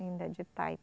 Ainda de